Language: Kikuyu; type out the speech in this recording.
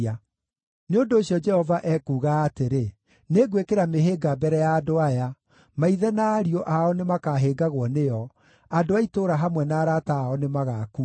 Nĩ ũndũ ũcio, Jehova ekuuga atĩrĩ: “Nĩngwĩkĩra mĩhĩnga mbere ya andũ aya. Maithe na ariũ ao nĩmakahĩngagwo nĩyo; andũ a itũũra hamwe na arata ao nĩmagakua.”